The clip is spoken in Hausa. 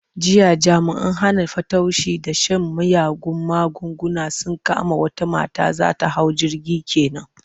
Jiya jami'an hana fatauci da shan miyagun magunguna sun kama wata mata za ta hau jirgi ke nan.